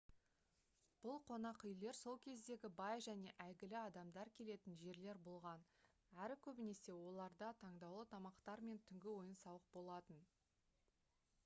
бұл қонақүйлер сол кездегі бай және әйгілі адамдар келетін жерлер болған әрі көбінесе оларда таңдаулы тамақтар мен түнгі ойын-сауық болатын